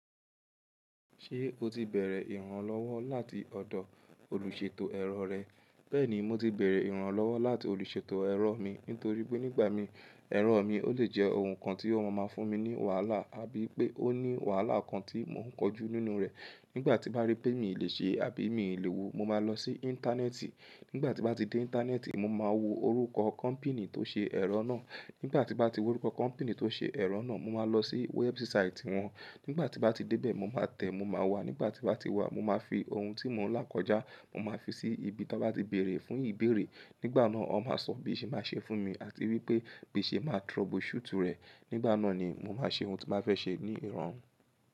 Ṣé o ti bẹ̀rẹ̀ ìrànlọ́wọ́ láti ọ̀dọ̀ olùṣètò ẹ̀rọ rẹ? Bẹ́ẹ̀ni, mo ti bẹ̀rẹ̀ ìrànlọ́wọ́ láti olùṣètò ẹ̀rọ mi. Nítorí pé nígbà mìí, ẹ̀rọ mi ó lè jẹ́ ohun kan tí ó máa ń fún mi ní wàhálà àbí pé ó ní wàhálà kan tí mò ń kọjú nínú rẹ̀. Nígbà tí n bá rí pé mi ò lè ṣe àbí mi ò ni owo, mo máa lọ sí Íńtánẹ́ẹ̀tì. Nígbà tí bá ti dé Íńtánẹ́ẹ̀tì, mo máa wo orúkọ kọ́mpìní tó ṣe ẹ̀rọ náà. Nígbà tí bá ti wa orúkọ kọ́mpìní tó ṣe ẹ̀rọ náà, mo máa lọ sí wẹ́ẹ̀bù sáìtì wọn. Nígbà tí bá ti dé bẹ̀, mo máa tẹ̀, mo máa wà. Nígbà tí bá ti wà, mo máa fi ohun tí mò ń lákójá, mo máa fi sí ibi tí wọ́n bá ti béèrè fún ìbéèrè. Nígbà náà, wọ́n máa sọ bí ìṣe máa ṣe fún mi àti wípé bíṣé máa trouble shoot rẹ̀. Nígbà náà ni mo máa ṣe ohun tí bá fẹ́ ṣe ní ìrọ̀rùn.